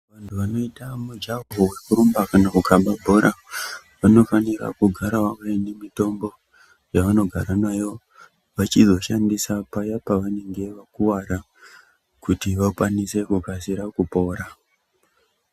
Vantu vanoita mujaho vekurumba kana kukaba bhora. Vanofanira kugara vaine mitombo yavanogara nayo vachizoshandisa paya pavanenge vakuvara kuti vakwanise kukasira kupora.